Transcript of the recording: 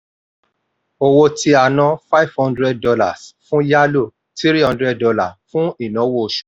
owó tí a ná: five hundred dollars fún yálò three hundred dollars fún ináwó oṣù.